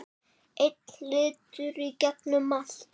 Einn litur í gegnum allt.